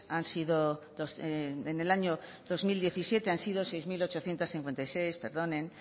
han sido en el año dos mil diecisiete han sido seis mil ochocientos cincuenta y seis perdonen